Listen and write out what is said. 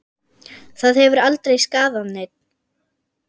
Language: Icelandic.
Það hefur aldrei skaðað neinn.